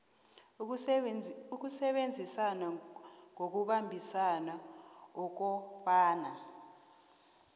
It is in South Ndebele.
ukusebenza ngokubambisana ukobana